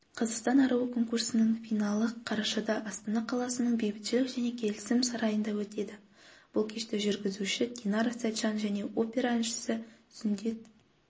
қазақстан аруы конкурсының финалы қарашада астана қаласының бейбітшілік және келісім сарайында өтеді бұл кешті тележүргізуші динара сәтжан мен опера әншісі сүндет